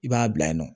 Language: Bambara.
I b'a bila yen nɔ